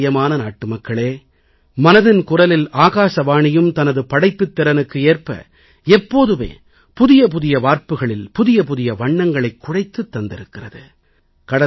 எனக்குப் பிரியமான நாட்டுமக்களே மனதின் குரலில் ஆகாசவாணியும் தனது படைப்புத் திறனுக்கு ஏற்ப எப்போதுமே புதிய புதிய வார்ப்புக்களில் புதிய புதிய வண்ணங்களைக் குழைத்துத் தந்திருக்கிறது